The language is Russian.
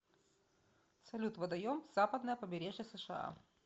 салют водоем западное побережье сша